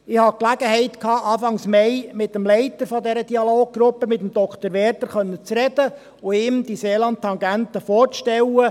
Ich hatte Anfang Mai die Gelegenheit, mit dem Leiter der Dialoggruppe, mit Dr. Werder, sprechen zu können und ihm die Seeland-Tangente vorzustellen.